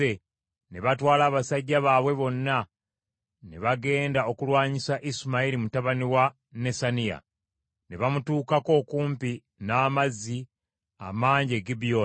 ne batwala abasajja baabwe bonna ne bagenda okulwanyisa Isimayiri mutabani wa Nesaniya. Ne bamutuukako okumpi n’amazzi amangi e Gibyoni.